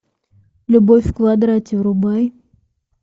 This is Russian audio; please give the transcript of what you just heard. любовь в квадрате врубай